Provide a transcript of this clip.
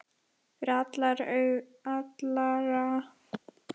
Fyrir allra augum!